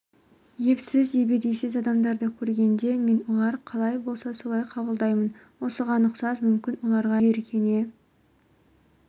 епсіз ебедейсіз адамдарды көргенде мен олар қалай болса мен солай қабылдаймын осыған ұқсас мүмкін оларға жиіркене